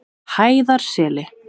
Hæðarseli